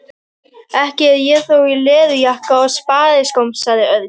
Ekki er ég þó í leðurjakka og spariskóm sagði Örn.